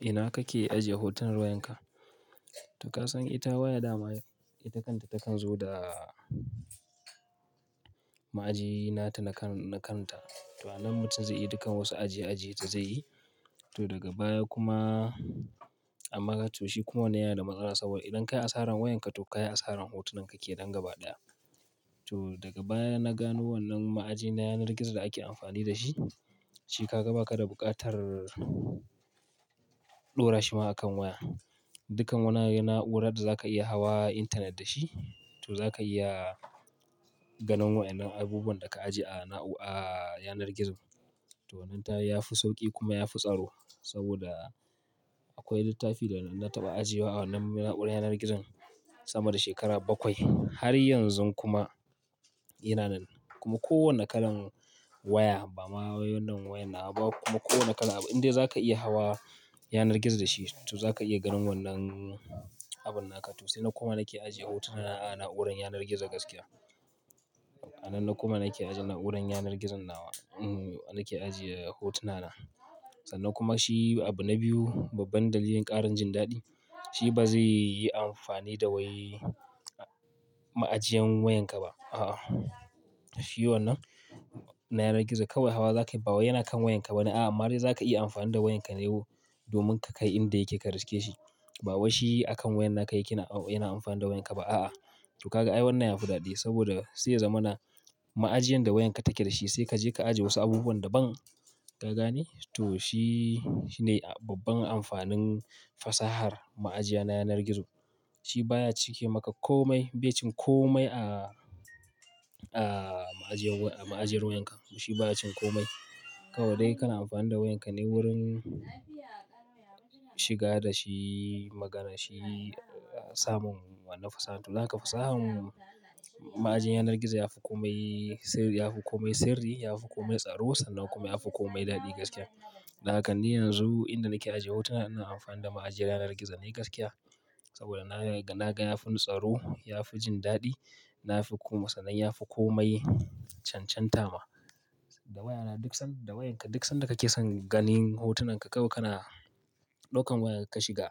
Ina kake ajiye hoton wayarka? To ka san ita waya dama ita kanta takan zo da ma'aji nata na kanta. To, anan mutum zai iya dukan wasu ajiye-ajiye ta zai yi. To daga baya kuma a maka to shi kuma wana yana da matsala saboda idan ka yi asaran wayanka to ka yi asaran hotunan ka ke nan gaba ɗaya. To daga baya na gano wannan ma'aji na yanar gizo da ake amfani da shi, shi ka ga baka da buƙatar ɗora shi ma a kan waya. Dukkan wanan na'urar da za ka iya hawa internet da shi, to za ka iya ganin wayannan abubuwan da ka ajiye a na'ura a yanar gizo. To wannan tayi ya fi sauƙi kuma ya fi tsaro saboda akwai littafi da na taɓa ajiye a wannan na'urar yanar gizon sama da shekara bakwai. Har yanzu kuma yana nan. Kuma kowane kalan waya ba ma wai wannan waya nawa ba kuma kowane kalan abu in dai za ka iya hawa yanar gizo da shi to za ka iya ganin wannan abun naka. To sai na koma nake ajiye hotuna a na'urar yanar gizo gaskiya. A nan na koma nake ajiye na'urar yanar gizon nawa, nake ajiye hotuna na. Sannan kuma shi abu na biyu, babban dalilin ƙarin jin daɗi, shi ba zai yi amfani da wai ma'ajiyan wayanka ba. A'a. Shi wannan na yanar gizo kawai hawa za ka yi, ba waya na kan wayanka ba ne. A'a, ama dai za ka iya amfani da wayanka ne domin ka kai inda yake ka riske shi. Ba wai shi akan wayan naka yake yana amfani da wayanka ba. A'a. To kaga ai wannan ya fi daɗi saboda sai ya zamana ma'ajiyan da wayanka take dashi sai ka je ka ajiye wasu abubuwan da ban ka gane. To shi, shi ne babban amfanin fasahar ma'ajiya na yanar gizo. Shi baya cike maka komai, bai cin komai a, a ma'ajiyar, a ma'ajiyar wayanka. Shi ba ya cin komai. Kawai dai kana amfani da wayanka ne wurin shiga da shi magana, shi samun wanan fasaha. To naka fasahan ma'ajin yanar gizo yafi komai sirri, yafi komai tsaro sannan kuma yafi komai daɗi gaskiya. Dan haka ni yanzu inda nake ajiye hotuna ina amfani da ma'ajiyar yanar gizo ne gaskiya. Saboda na, na ga yafi tsaro, yafi jin daɗi, na fi kuma sannan yafi komai cancantama. Da wayana duk san, da wayanka duk san da kake son ganin hotunan ka kawai kana ɗaukan wayarka ka shiga.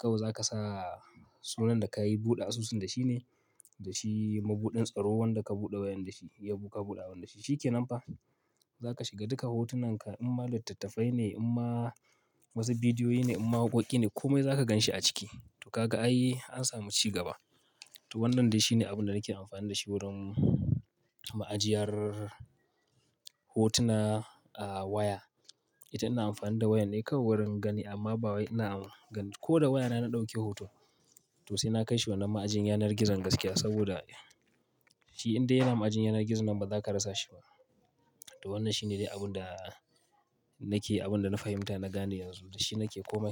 Kawai za ka sa sunan da kayi buɗe asusun da shi ne, da shi mabuɗin tsaro wanda ka buɗe wayan da shi, ya buƙa buɗa wanda shi shi ke nan fa. Za ka shiga duka hotunan ka in ma littattafai ne, in ma wasu bidiyoyi ne, in ma waƙoƙi ne komai za ka ganshi a ciki. To kaga ai an samu ci gaba. To wannan dai shine abun da nake amfani da shi wurin ma'ajiyar hotuna a waya. Ita ina amfani da waya ne kawai wurin gani amma ba wai ina. Ko da wayana na ɗauke hoto to sai na kai shi wannan ma'ajin yanar gizon gaskiya saboda shi indai yana ma'ajin yanar gizo nan ba za ka rasa shi ba. To wannan shine dai abun da nake, abun da na fahimta na gane yanzu. Da shi nake komai.